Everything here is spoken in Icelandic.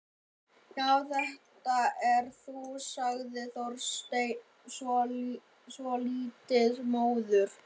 Já, þetta ert þú sagði Þorsteinn, svolítið móður.